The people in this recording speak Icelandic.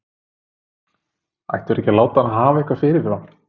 Ættu þeir ekki að láta hann hafa eitthvað fyrirfram?